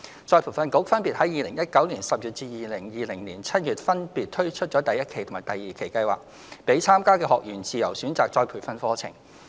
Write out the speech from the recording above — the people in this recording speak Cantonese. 再培訓局分別於2019年10月及2020年7月分別推出第一期及第二期計劃，讓參加的學員自由選擇再培訓課程。